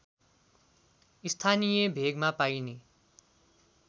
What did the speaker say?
स्थानीय भेगमा पाइने